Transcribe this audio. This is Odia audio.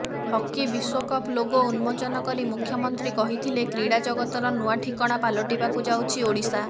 ହକି ବିଶ୍ୱକପ୍ ଲୋଗୋ ଉନ୍ମୋଚନ କରି ମୁଖ୍ୟମନ୍ତ୍ରୀ କହିଥିଲେ କ୍ରୀଡ଼ା ଜଗତର ନୂଆ ଠିକଣା ପାଲଟିବାକୁ ଯାଉଛି ଓଡ଼ିଶା